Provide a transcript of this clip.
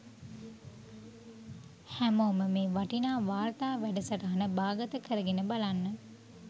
හැමෝම මේ වටිනා වාර්තා වැඩසටහන බාගත කරගෙන බලන්න